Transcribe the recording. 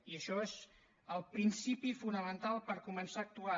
i això és el principi fonamental per començar a actuar